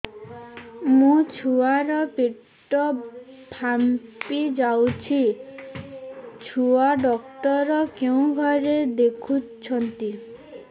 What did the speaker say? ମୋ ଛୁଆ ର ପେଟ ଫାମ୍ପି ଯାଉଛି ଛୁଆ ଡକ୍ଟର କେଉଁ ଘରେ ଦେଖୁ ଛନ୍ତି